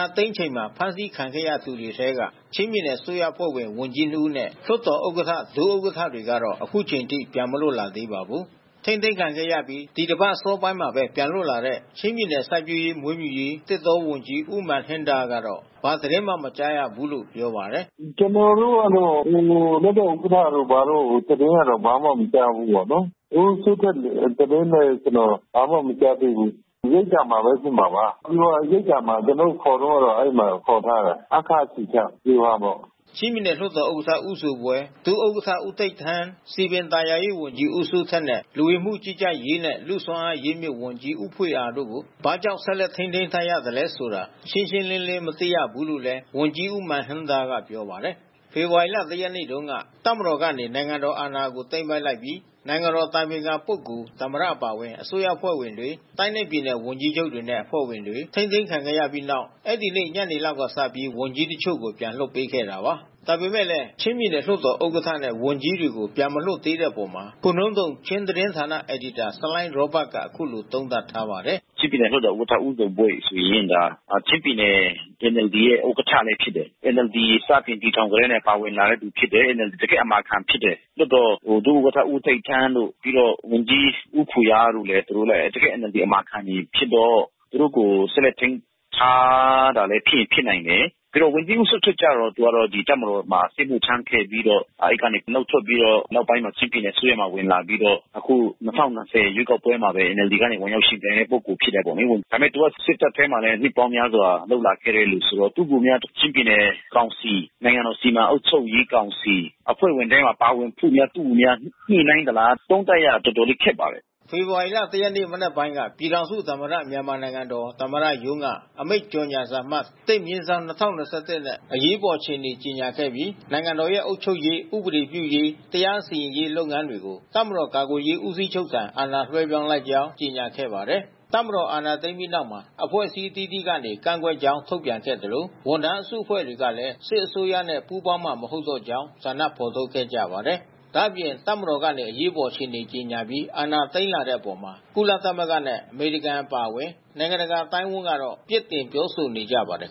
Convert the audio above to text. ာသိမ်းချိန်မှာ ဖမ်းဆီးခံခဲ့ရသူတွေထဲက ချင်းပြည်နယ် အစိုးရအဖွဲ့ဝင် ဝန်ကြီး ၂ ဦးနဲ့ လွှတ်တော်ဥက္ကဋ္ဌ၊ ဒုဥက္ကဋ္ဌတွေကတော့ အခုထိ ပြန်လွတ်မလာသေးပါဘူး။ ထိန်းသိမ်းခံခဲ့ရပြီး ဒီတပတ်အစောပိုင်းမှာပဲ ပြန်လွတ်လာတဲ့ ချင်းပြည်နယ် စိုက်ပျိူးရေး၊ မွေးမြူရေး၊ သစ်တောဝန်ကြီး ဦးမန်ဟင်းဒါလ်းကတော့ ဘာသတင်းမှ မကြားရဘူးလို့ပြောပါတယ်။ “ကျနော်တို့ကတော့ လွှတ်တော်ဥက္ကဋ္ဌတို့၊ ဘာတို့သတင်းကတော့ ဘာမှမကြားဘူး။ ဝန်ကြီးဦးစိုးထက်သတင်းလည်း ကျနော် ဘာမှမကြားသေးဘူး။ ရိပ်သာမှာပဲ ဖြစ်မှာပါ။ ဗျူဟာရိပ်သာမှာ ကျနော်တို့ ခေါ်သွားတော့အဲဒီမှာ ခေါ်ထားတာ။ ဟားခါးအခြေစိုက်ဗျူဟာပေါ့။” ချင်းပြည်နယ်လွှတ်တော်ဥက္ကဋ္ဌ ဦးဇိုဘွဲ၊ ဒုဥက္ကဋ္ဌ ဦးတိပ်ထန်း၊ စည်ပင်သာယာရေးဝန်ကြီး ဦးစိုးထက်နဲ့ လူဝင်မှုကြီးကြပ်ရေးနဲ့ လူ့စွမ်းအား အရင်းအမြစ်ဝန်ကြီး ဦးဖွေအာတို့ကို ဘာကြောင့် ဆက်လက်ထိန်းသိမ်းထားသလဲဆိုတာ ရှင်းရှင်းလင်းလင်း မသိရဘူးလို့လည်း ဝန်ကြီးဦးမန်ဟင်းဒါလ်းက ပြောပါတယ်။ ဖေဖော်ဝါရီ ၁ ရက်နေ့တုန်းက တပ်မတော်ကနေ နိုင်ငံတော်အာဏာကို သိမ်းပိုက်လိုက်ပြီး နိုင်ငံတော်အတိုင်ပင်ခံ ပုဂ္ဂိုလ်၊ သမ္မတ အပါအဝင် အစိုးရအဖွဲ့ဝင်တွေ၊ တိုင်းနဲ့ပြည်နယ် ဝန်ကြီးချုပ်တွေနဲ့ အစိုးရအဖွဲ့ဝင်တွေ ထိန်းသိမ်းခံခဲ့ရပြီးနောက် အဲဒီနေ့ ညနေလောက်ကစပြီး ဝန်ကြီးတချို့ကိုပြန်လွှတ်ပေးခဲ့တာပါ။ ဒါပေမဲ့ ချင်းပြည်နယ်လွှတ်တော်ဥက္ကဋ္ဌနဲ့ ဝန်ကြီးတွေကို ပြန်မလွှတ်သေးတဲ့အပေါ် ခိုနုန်းသုမ် ချင်းသတင်းဌာန အယ်ဒီတာ ဆလိုင်းရောဘတ်က အခုလို သုံးသပ်ထားပါတယ်။ “ချင်းပြည်နယ်လွှတ်တော်ဥက္ကဋ္ဌ ဦးဇိုဘွဲဆိုရင် ချင်းပြည်နယ်ရဲ့ NLD ဥက္ကဋ္ဌလည်း ဖြစ်တယ်။ NLD စတင်တည်ထောင်လာကတည်းက ပါဝင်လာတဲ့သူဖြစ်တယ်။ တကယ့်အမာခံဖြစ်တယ်။ လွှတ်တော် ဒုဥက္ကဋ္ဌ ဦးတိပ်ထန်းတို့၊ ဝန်ကြီး ဦးဖွေအာ သူတို့ဆိုလည်း တကယ့် NLD အမာခံဖြစ်တော့ သူတို့ကို ဆက်လက်ထိန်းသိမ်းထားတာလည်း ဖြစ်ရင်ဖြစ်နိုင် တယ်။ ဝန်ကြီးဦးစိုးထက်ကျတော့ တပ်မတော်မှာ စစ်မှုထမ်းခဲ့ပြီးတော့ အဲဒီကနေနုတ်ထွက်ပြီးတော့ နောက်ပိုင်းမှာ ချင်းပြည်နယ်အစိုးရမှာ ဝင်လာပြီးတော့ အခု ၂၀၂၀ ရွေးကောက်ပွဲမှာပဲ NLD ကနေ ဝင်ရောက်ယှဉ်ပြိုင်တဲ့ ပုဂ္ဂိုလ်ဖြစ်တာပေါ့လေ။ ဒါပေမဲ့ သူက စစ်တပ်ထဲမှာလည်း နှစ်ပေါင်းများစွာ လုပ်လာခဲ့တဲ့သူဆိုတော့ သူ့ကိုများ ချင်းပြည်နယ် ကောင်စီ၊ နိုင်ငံတော်စီမံအုပ်ချုပ်ရေးကောင်စီ အဖွဲ့ဝင်ထဲမှာ ပါဝင်ဖို့များ သူ့ကို ညှိနှိုင်းသလား၊ သုံးသပ်ရတာ တော်တော်လေးခက်ပါတယ်။” ဖေဖော်ဝါရီလ ၁ ရက်နေ့ မနက်ပိုင်းက ပြည်ထောင်စုသမ္မတမြန်မာနိုင်ငံတော်သမ္မတရုံးက အမိန့် ကြေညာစာအမှတ် ၁/၂၀၂၁ နဲ့ အရေးပေါ် အခြေအနေကြေညာခဲ့ပြီး နိုင်ငံတော်ရဲ့ အုပ်ချုပ်ရေး၊ ဥပဒေပြုရေး တရားစီရင်ရေးလုပ်ငန်းတွေကို တပ်မတော် ကာကွယ်ရေးဦးစီးချုပ်ထံ အာဏာလွှဲပြောင်းလိုက်ကြောင်းကြေညာခဲ့ပါတယ်။ တပ်မတော်အာဏာသိမ်းပြီးတဲ့နောက်မှာ အဖွဲ့အစည်းအသီးသီးကနေ ကန့်ကွက်ကြောင်းထုတ်ပြန်ခဲ့သလို ဝန်ထမ်းအစုအဖွဲ့တွေကလည်း စစ်အစိုးရနဲ့ ပူးပေါင်းမှာ မဟုတ်တော့ကြောင်း ဆန္ဒဖော်ထုတ်ခဲ့ကြပါတယ်။ ဒါ့အပြင်တပ်မတော်ကနေ အရေးပေါ် အခြေအနေကြေညာပြီး အာဏာသိမ်းလာတဲ့အပေါ် ကုလသမဂ္ဂနဲ့ အမေရိကန် အပါအဝင် နိုင်ငံတကာ အသိုင်းအဝန်းကတော့ ပြစ်တင်ပြောဆိုနေကြပါတယ်